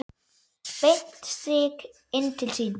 Beint strik inn til sín.